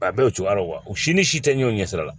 A bɛɛ o cogoya ra u si ni si te ɲɛw ɲɛ sira la